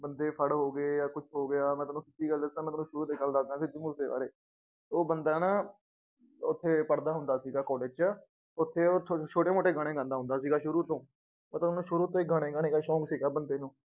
ਬੰਦੇ ਫੜ ਹੋ ਗਏ ਜਾਂ ਕੁਛ ਹੋ ਗਿਆ ਮੈਂ ਤੁਹਾਨੂੰ ਸੱਚੀ ਗੱਲ ਦੱਸਾਂ ਮੈਂ ਤੁਹਾਨੂੰ ਸ਼ੁਰੂ ਤੋਂ ਗੱਲ ਦੱਸਦਾਂ ਸਿੱਧੂ ਮੂਸੇ ਬਾਰੇ, ਉਹ ਬੰਦਾ ਨਾ ਉੱਥੇ ਪੜ੍ਹਦਾ ਹੁੰਦਾ ਸੀਗਾ college ਚ ਉੱਥੇ ਉਹ ਥੋ ਛੋਟੇ ਮੋਟੇ ਗਾਣਾ ਗਾਉਂਦਾ ਹੁੰਦਾ ਸੀਗਾ ਸ਼ੁਰੂ ਤੋਂ ਮਤਲਬ ਉਹਨੂੰ ਸ਼ੁਰੂ ਤੋਂ ਹੀ ਗਾਣੇ ਗਾਣੇ ਕਾ ਸ਼ੋਂਕ ਸੀਗਾ ਬੰਦੇ ਨੂੰ।